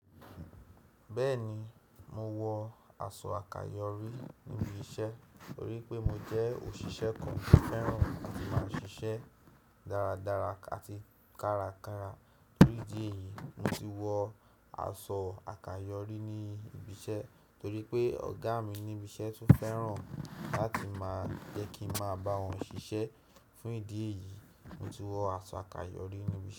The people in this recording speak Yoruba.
Bẹ́ẹ̀ni, mo wọ aṣọ àkàyọ́rí níbi iṣẹ́ torí pé mo jẹ́ òṣìṣẹ́ kan tó fẹ́ràn láti máa ṣiṣẹ́ dáradára àti kárakára. Torí ìdí èyí, mo ti wọ aṣọ àkàyọ́rí ní ibi iṣẹ́ torí pé ọ̀gá mi níbi iṣẹ́ tún fẹ́ràn láti máa jẹ́ kí n máa bá wọn ṣiṣẹ́. Fún ìdí èyí, mo ti wọ aṣọ àkàyọ́rí níbi iṣẹ́.